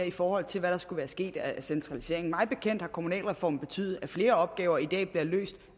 i forhold til hvad der skulle være sket af centralisering mig bekendt har kommunalreformen betydet at flere opgaver i dag bliver løst